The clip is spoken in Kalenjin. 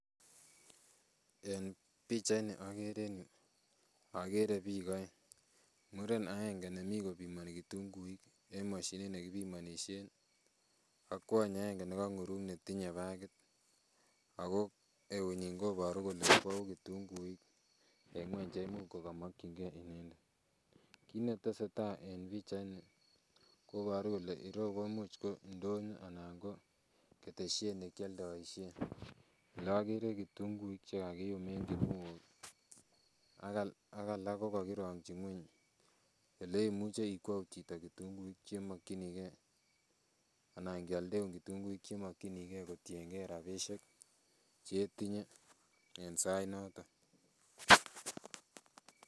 En pichait ni okere en yuu okere biik oeng muren agenge nemii kopimoni kitunguik en moshinit nekipimonishen ak kwony agenge nokong'urung netinye bakit ako eut nyin koboru kole kwou kitunguik en ng'weny cheimuch kokomokyingee inendet. Kit netesetai en pichait ni koboru kole ireu komuch ko ndonyo anan ko ketesiet nekioldoisien elokere kitunguik chekakiyum en kinuok ak alak kokokirongyi ng'weny oleimuche ikwou chito kitunguik chemokyingee anan kioldeun kitunguik chemokyingee kotiengee rapisiek chetinye en sait noton.